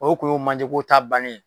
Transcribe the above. O tun ye o manjeko ta bannen